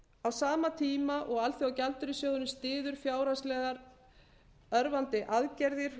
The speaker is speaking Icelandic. á sama tíma og alþjóðagjaldeyrissjóðurinn styður fjárhagslega örvandi aðgerðir